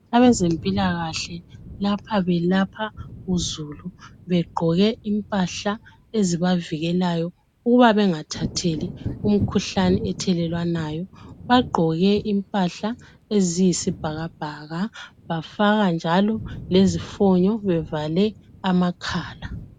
Abezempilakahle lapha belapha uzulu begqoke impahla ezibavikelayo ukuba bengathatheli imkhuhlani ethelelwanayo bagqoke impahla eziyisibhakabhaka bafaka njalo lezifonyo bevale amakhala.